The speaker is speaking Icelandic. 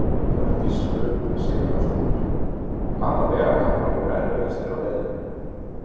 Hjördís Rut Sigurjónsdóttir: Og hvaða vegakaflar voru erfiðastir á leiðinni?